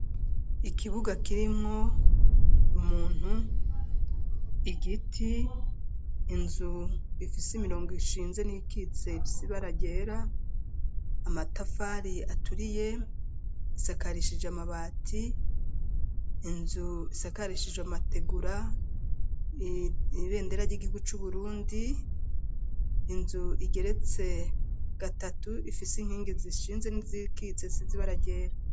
Ikibuga kirimwo umuntu, igiti, inzu ifise imirongo ishinze n'iyikitse ifise ibara ryera, amatafari aturiye, isakarishije amabati; inzu isakarishijwe amategura, ibendera ry'igihugu c'Uburundi, inzu igeretse gatatu, ifise inkingi zishinze n'izikitse zisize ibara ryera.